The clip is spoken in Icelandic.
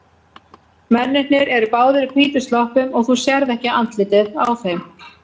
Mennirnir eru báðir í hvítum sloppum og þú sérð ekki andlitið á þeim.